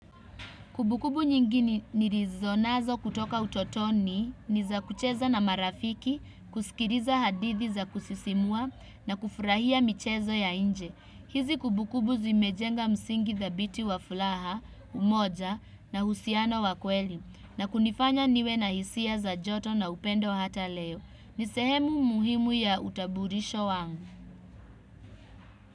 Kubukubu nyingi nirizonazo kutoka utotoni ni za kucheza na marafiki, kusikiriza hadithi za kusisimua na kufurahia michezo ya inje. Hizi kubukubu zimejenga msingi thabiti wa fulaha, umoja na husiano wa kweli na kunifanya niwe na hisia za joto na upendo hata leo. Ni sehemu muhimu ya utaburisho wangu.